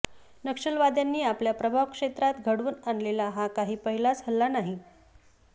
नक्षलवाद्यांनी आपल्या प्रभाव क्षेत्रात घडवून आणलेला हा काही पहिलाच हल्ला नाही